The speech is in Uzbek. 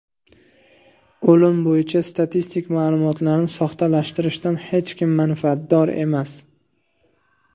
O‘lim bo‘yicha statistik ma’lumotlarni soxtalashtirishdan hech kim manfaatdor emas.